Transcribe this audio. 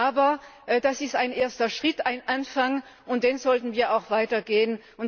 Aber das ist ein erster Schritt, ein Anfang, und den sollten wir auch weiter gehen.